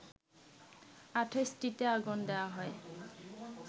২৮টিতে আগুন দেয়া হয়